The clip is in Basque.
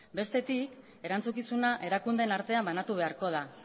bestetik erantzukizuna erakundeen artean banatu beharko da